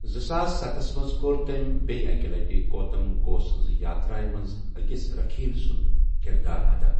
زٕساس ستَس منٛز کوٚر تٔمۍ بییہِ اکہِ لٹہِ گوتم گھوس سنٛز یاترا منٛز أکِس رکھیل ہُنٛد کردار ادا۔